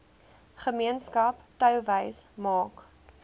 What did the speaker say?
gemeenskap touwys maak